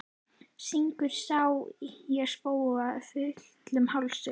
Syngur Sá ég spóa fullum hálsi.